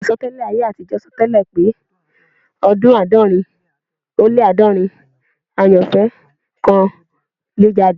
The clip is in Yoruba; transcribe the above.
Àsọtẹ́lẹ̀ ayé àtijọ́ sọ tẹ́lẹ̀ pé ní ọdún àádọ́rin ó lé àádọ́rin [400], àyànfẹ́ kan yóò jáde